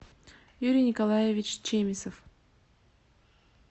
юрий николаевич чемисов